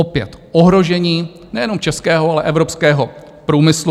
Opět ohrožení nejenom českého, ale evropského průmyslu.